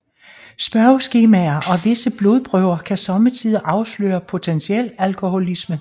Spørgeskemaer og visse blodprøver kan somme tider afsløre potentiel alkoholisme